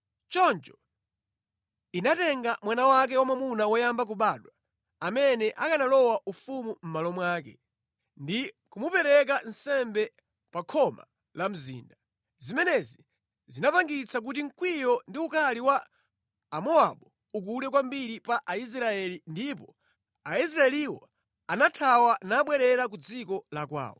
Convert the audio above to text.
Choncho inatenga mwana wake wamwamuna woyamba kubadwa, amene akanalowa ufumu mʼmalo mwake, ndi kumupereka nsembe pa khoma la mzinda. Zimenezi zinachititsa kuti mkwiyo ndi ukali wa Amowabu ukule kwambiri pa Aisraeli ndipo Aisraeliwo anathawa nabwerera ku dziko la kwawo.